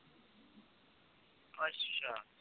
ਅੱਛਾ।